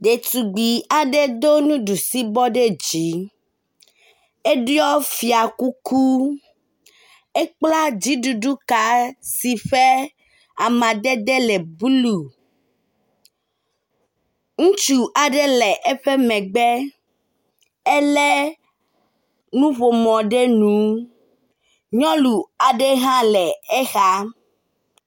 Ɖetugbi aɖe do nuɖusi bɔ ɖe dzi, eɖiɔ fiakuku, ekpla dziɖuɖu ka si ƒe amadede le blu. Ŋutsu aɖe le eƒe megbe, elé nuƒomɔ ɖe nu. Nyɔnu aɖe hã le exa.